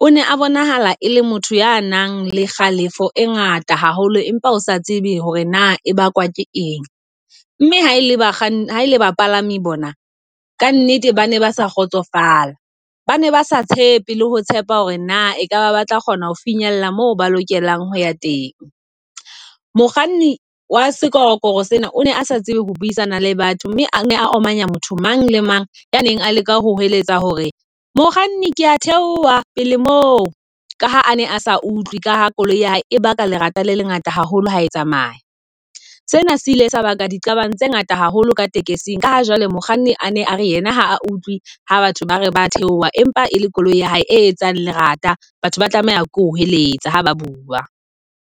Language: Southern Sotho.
O ne a bonahala e le motho ya nang le kgalefo e ngata haholo, empa o sa tsebe hore na e bakwa ke eng. Mme ha ele ba bakganni ha ele bapalami bona ka nnete ba ne ba sa kgotsofala. Bane ba sa tshepe le ho tshepa hore na ekaba ba tla kgona ho finyella mo ba lokelang ho ya teng. Mokganni wa sekorokoro sena o ne a sa tsebe ho buisana le batho, mme a omanya motho mang le mang ya neng a leka ho hweletsa hore mokganni kea theoha pele moo ka ha a ne a sa utlwe ka ha koloi ya ebaka lerata le lengata haholo ha e tsamaya. Sena se ile sebaka diqabang tse ngata haholo ka taxi-ng ka ha jwale mokganni a ne a re yena ha utlwe ha batho ba re ba theoha, empa e le koloi ya hae e etsang lerata. Batho ba tlameha ke o hweletsa ha ba bua.